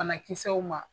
Banakisɛw ma